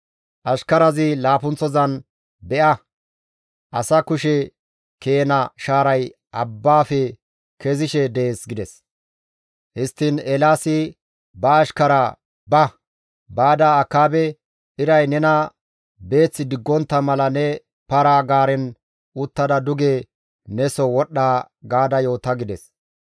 Ashkarazi laappunththozan, «Be7a! Asa kushe keena shaaray abbaafe kezishe dees» gides. Histtiin Eelaasi ba ashkaraa, «Ba; baada Akaabe, ‹Iray nena beeth diggontta mala ne para-gaaren uttada duge ne soo wodhdha› gaada yoota» gides.